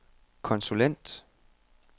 konsulent